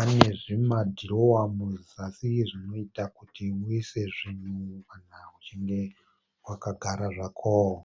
anezvima dhirowa muzasi zvinoita kuti muise zvinhu kana uchinge wakagara zvako.